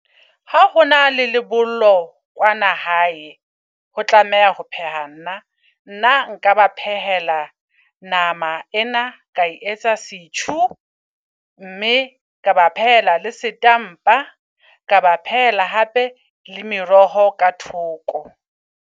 Ha hona le kwana hae, jo tlameha ho pheha nna. Nna nka ba phehela nama ena ka etsa setjhu, mme ka ba phela le setampa. Ka ba phehela hape le meroho ka thoko.